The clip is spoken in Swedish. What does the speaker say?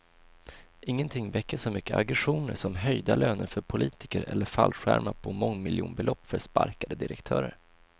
Ingenting väcker så mycket aggressioner som höjda löner för politiker eller fallskärmar på mångmiljonbelopp för sparkade direktörer.